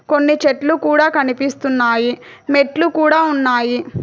కొన్ని చెట్లు కూడా కనిపిస్తున్నాయి మెట్లు కూడా ఉన్నాయి.